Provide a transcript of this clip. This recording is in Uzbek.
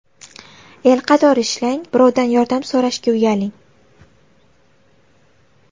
El qatori ishlang, birovdan yordam so‘rashga uyaling.